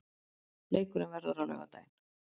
Leikurinn verður á laugardaginn.